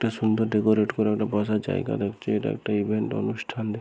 একটা সুন্দর ডেকোরেট করা একটা বসার জায়গা দেখছি। এটা একটা ইভেন্ট অনুষ্ঠান |